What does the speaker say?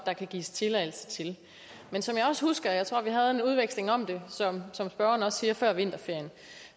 der kan gives tilladelse til men som jeg også husker jeg tror at vi havde en udveksling om det som spørgeren også siger før vinterferien